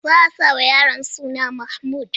Za a sa ma yaron suna Mahmud.